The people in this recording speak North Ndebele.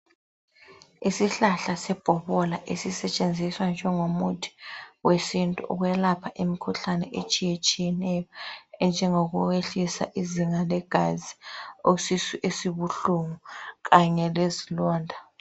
Isihlahla sebhokola esisetshenziswa njengomuthi wesintu wokwelapha imkhuhlane etshiyetshiyeneyo enjengokuyehlisa izinga legazi isisu esibuhlungu Kanye lezilonda